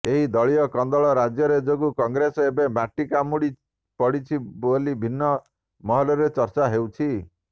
ଏହି ଦଳୀୟ କନ୍ଦଳ ରାଜ୍ୟରେ ଯୋଗୁଁ କଂଗ୍ରେସ ଏବେ ମାଟି କାମୁଡ଼ି ପଡ଼ିଛି ବୋଲି ବିଭିନ୍ନ ମହଲରେ ଚର୍ଚ୍ଚା ହେଉଛି